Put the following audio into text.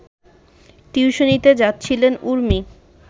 টিউশনিতে যাচ্ছিলেন উর্মি